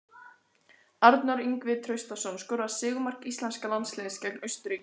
Arnór Ingvi Traustason skoraði sigurmark íslenska landsliðsins gegn Austurríki í kvöld.